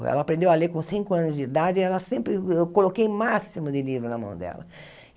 Ela aprendeu a ler com cinco anos de idade ela sempre e eu coloquei o máximo de livro na mão dela.